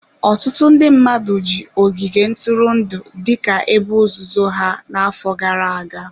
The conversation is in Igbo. Ọtụtụ ndị mmadụ ji ogige ntụrụndụ dịka ebe ozuzo ha n'afọ gara-aga.